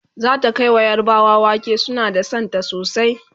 zata Kai wa yarbawa wake suna da Santa sosai